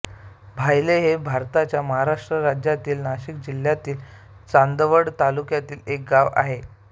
भायळे हे भारताच्या महाराष्ट्र राज्यातील नाशिक जिल्ह्यातील चांदवड तालुक्यातील एक गाव आहे